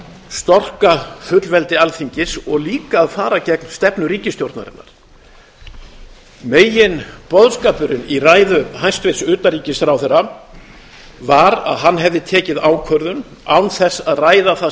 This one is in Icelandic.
storka fullveldi alþingis og líka að fara gegn stefnu ríkisstjórnarinnar meginboðskapurinn í ræðu hæstvirts utanríkisráðherra var að hann hefði tekið ákvörðun án þess að ræða það